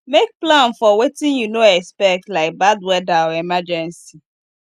make plan for wetin you no expect like bad weather or emergency